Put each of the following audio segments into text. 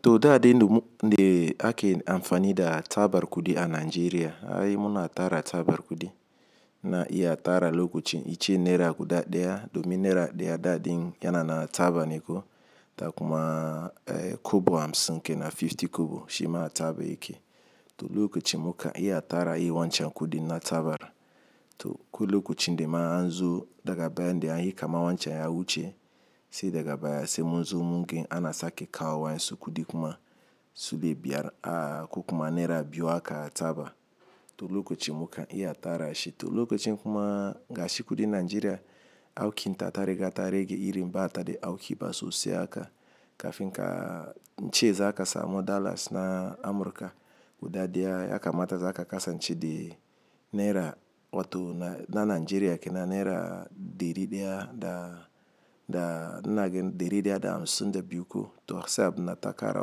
To daa de ndum-- nde ake amfani da tabar kudi a Najeriya, ai muna tara tabar kudi na iya tara lokacin iccen naira guda ɗaya domin naira ɗaya daɗin yana na tabar neko da kuma, eh, kobo hamsin kenan fifty kobo shi ma taba yake. To lokacin muka iya tara i wancan kudi na tabara. To ko lokacin de ma an zo daga baya de an yi kama wancan ya wuce, sai daga baya sai munzo mun gani anasa ke kawo wani kudi kuma su lebiyar a-- ko kuma naira biyu aka taba. To lokacin muka iya tara shi. To lokacin kuma ga shi kudi Najeriya auki ta tareka tarege iri bata de auki ba sosai aka kafin ka-- nce za akasa mo dallas na Amurka guda ɗaya ya kamata za aka kasa nce de naira wato na-- na Najeriya kenan naira dari ɗaya da, da nagen dari ɗaya da hamsin da biyu ko. To sai abun na takara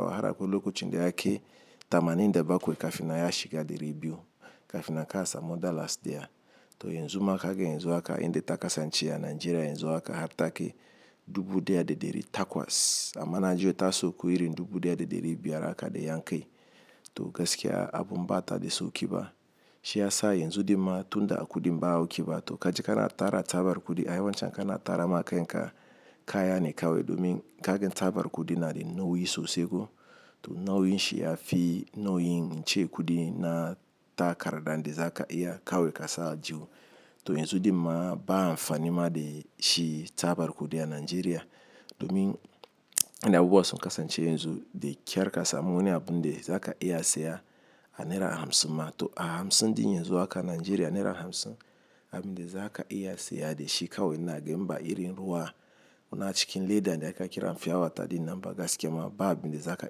wahala ko lokacin de ake tamanin da bakwai kafin ya shiga dari biyu kafin a kasa mo dallas deya. To yanzu maka hagen yanzu aka inde takasa nce a Najeriya yanzu aka har take dubu ɗaya da ɗari takwas. Amma Najeriya tasa koyi iri dubu ɗaya da ɗari biyar aka de yan kai. To gaskiya abun bata de so ki ba. Shi ya sa yanzu de ma tunda a kudi mba auki ba to kaji kana tara tabar kudi ai wancan kana tara maka in ka kaya ne kawe domin ka gen tabar kudi na de nauyi sosai ko. To nauyin shi ya fi nauyin nce kudi na takarda de za ka iya kawe kasa jiwo. To yanzu de ma ba amfanin ma de shi tabar kudi a Najeriya domin ina bubbuwa son kasa nce yanzu de kyar kasa mu wani abun de za ka iya saya a naira hamsin ma. To a hamsin din yanzu aka Najeriya naira hamsin abin de za ka iya saya de shi kawai nagen mba iri ruwa. Wuna cikin leda de aka kira fim yawata din namba gaskiya ma ba abin de za ka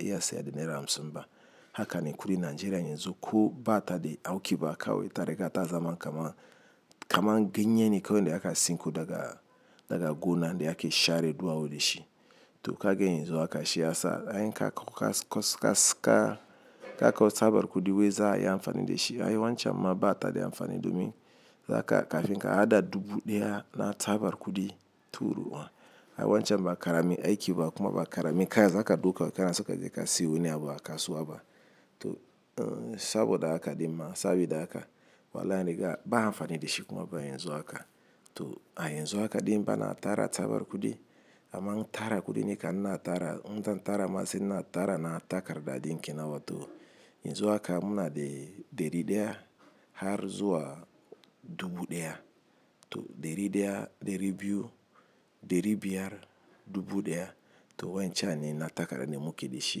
iya saya de naira hamsin mba. Haka ne kudi Najeriya yanzu ko bata de auki ba kawe tareka ta zama kama, kamar ganyene kawai de aka sinko daga, daga gona de ake share duwawu de shi. To ka gen yanzu aka shi ya sa ai ka koka kasko ka, ka kawo tabar kudi wai za a yi amfani da shi. Ai wancan ma bata de amfani domin za ka kafin ka hada dubu ɗaya na tabar kudi turu wa. Ai wancan ba karemi aiki ba kuma ba karemi kaya za ka ɗauka kana saka jika siyo wani abu aka suwa ba. To, en, saboda haka de ma sabida haka wala niga ba amfani da shi kuma ba yanzu aka. To a yanzu aka din mba na tara tabar kudi amma n tara kudi ne ka nna tara-- nza tara masa in na tara na takarda dinkin nawa. To yanzu aka muna de dari ɗaya har zuwa dubu ɗaya. To dari ɗaya, dari biyu, dari biyar, dubu ɗaya. To wancan ne na takarda ne muke de shi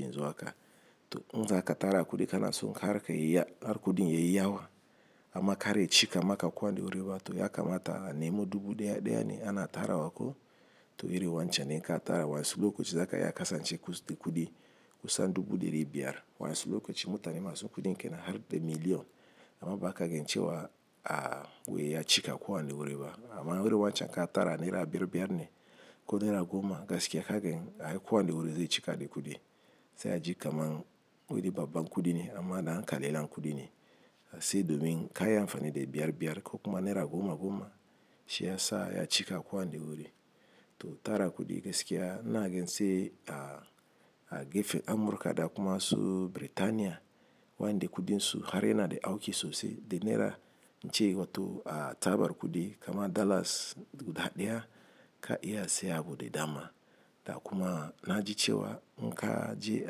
yanzu aka. To in za ka tara kudi kana son kareka yiya-- har kudi yayi yawa amma kare cika maka kwan de wuri ba to ya kamata nemo dubu ɗaya ɗaya ne ana tara wa ko. To iri wancan ne ka tara wansu lokacin za ka iya kasa nce kudi kusa dubu da dari biyar. Wansu lokacin mutane masu kudi kenan har de million amma ba ka gen cewa a-- wai ya cika kwan de wuri ba. Amma iri wancan ka tara naira biyar biyar ne ko naira goma gaskiya ka gen ai kwan de wuri zai cika da kudi. Sai a ji kamar wuri babba kudi ne amma na an kalela kudi ne. Sai domin ka yi amfani da biyar biyar ko kuma naira goma goma shi ya sa ya cika kwan de wuri. To tara kudi gaskiya nagen sai a, a gefen Amurka da kuma su Biritaniya wani de kudi su har yana de auki sosai de naira nce wato a tabar kudi kama dallas guda ɗaya ka iya saya abu de dama. Da kuma na ji cewa in ka je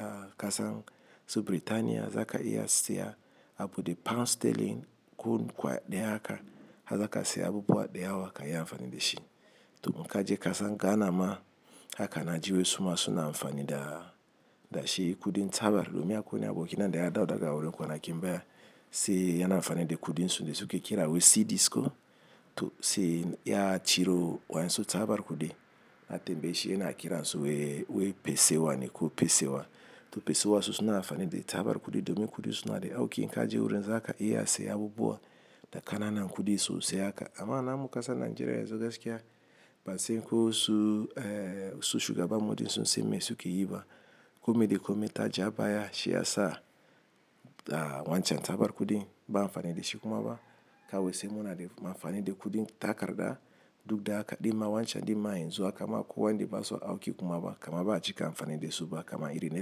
a kasa su Biritaniya za ka iya saya abu de pound sterling kun kwa ɗaya haka a za ka saya abu buhuwa ɗaya wa ka yi amfani da shi. To in ka je kasa Ghana ma haka na ji wai su ma suna amfani da, da shi kudi tabar domin ya koyi aboki nan de ya dawo daga wuri kwanakin baya sai yana amfani da kudi su de su ke kira wai cidisco. To sai ya ciro wansu tabar kudi a tambayi shi yana kira su wai, wai pesewa ne ko pesewa. To pesewa su suna amfani da tabar kudi domin kudi su na de auki in ka je wurin za ka iya saya abu buhuwa da kana nan kudi sosai haka. Amma namu kasa Najeriya yanzu gaskiya ba sai ko su, eh, su shiga ba mudi su siyo me suke yi ba. Kome de kome ta ja baya shi ya sa, ah, wancan tabar kudi ba amfani da shi kuma ba. Ka wai sai muna de amfani da kudi takarda duk da haka de ma wancan de ma yanzu aka ma kwan de basu auki kuma ba kama ba a ji kamfani da su ba kama iri naira.